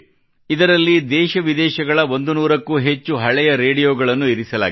ಇದರಲ್ಲಿ ದೇಶವಿದೇಶಗಳ 100 ಕ್ಕೂ ಅಧಿಕ ಹಳೆಯ ರೇಡಿಯೋಗಳನ್ನು ಇರಿಸಲಾಗಿದೆ